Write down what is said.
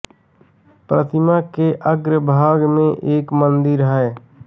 प्रतिमा के अग्र भाग में एक मन्दिर है